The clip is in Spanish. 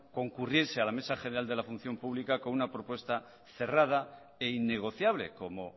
concurriese a la mesa general de la función pública con una propuesta cerrada e innegociable como